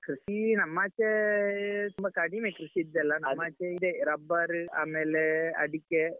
ಕೃಷಿ ನಮ್ಮಾಚೆಯೇ ತುಂಬಾ ಕಡಿಮೆ ಕೃಷಿದ್ದೆಲ್ಲಾ ನಮ್ಮಾಚೆ ಇದೆ ರಬ್ಬರ್ ಆಮೇಲೆ ಅಡಿಕೆ.